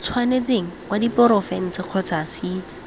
tshwanetseng wa diporofense kgotsa c